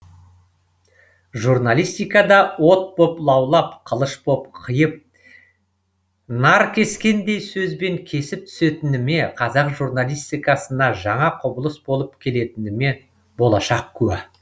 журналистикада от боп лаулап қылыш болып қиып наркескендей сөзбен кесіп түсетініме қазақ журналистикасына жаңа құбылыс болып келетініме болашақ куә